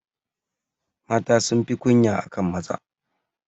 Mata sunfi kunya akan maza.